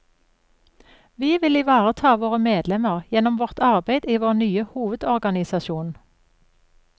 Vi vil ivareta våre medlemmer gjennom vårt arbeid i vår nye hovedorganisasjon.